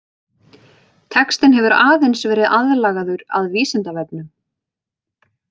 Textinn hefur aðeins verið aðlagaður að Vísindavefnum.